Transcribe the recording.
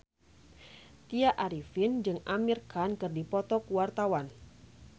Tya Arifin jeung Amir Khan keur dipoto ku wartawan